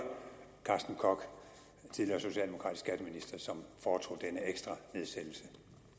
carsten koch tidligere socialdemokratisk skatteminister som foretog denne ekstra nedsættelse